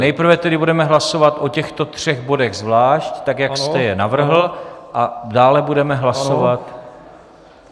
Nejprve tedy budeme hlasovat o těchto třech bodech zvlášť, tak jak jste je navrhl, a dále budeme hlasovat...